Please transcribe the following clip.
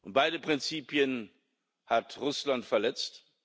Und beide Prinzipien hat Russland verletzt.